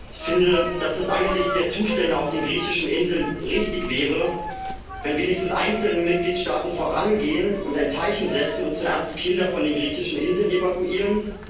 Ich finde, dass es angesichts der Zustände auf den griechischen Inseln richtig wäre, wenn wenigstens einzelne Mitgliedstaaten vorangehen und ein Zeichen setzen und zuerst die Kinder von den griechischen Inseln evakuieren.